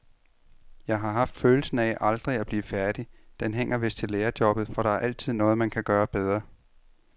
Jeg har haft følelsen af aldrig at blive færdig,, den hænger vist til lærerjobbet, for der er altid noget, man kan gøre bedre.